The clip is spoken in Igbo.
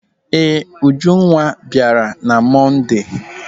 Ee, Ujunwa bịara na Monde.